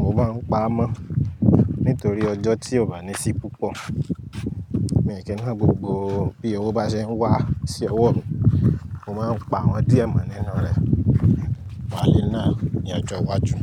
mo máa ń pa á mọ́ nítorí ọjọ́ tí ò bá ní sí púpọ̀. Mi ò kì í ná gbogbo bí owó bá ṣe ń wá sí ọwọ́ mi, mo máa ń pa àwọn díẹ̀ mọ́ nínú rẹ̀, má lè náà ní ọjọ́ iwájú.